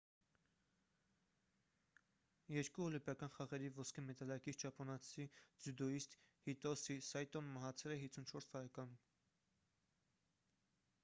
երկու օլիմպիական խաղերի ոսկե մեդալակիր ճապոնացի ձյուդոյիստ հիտոսի սայտոն մահացել է 54 տարեկանում